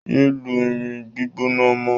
Yéé lu irin gbígbóná mọ́!